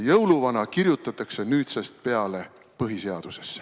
Jõuluvana kirjutatakse nüüdsest peale põhiseadusesse.